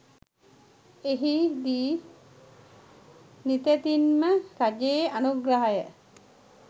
එහි දී නිතැතින් ම රජයේ අනුග්‍රහය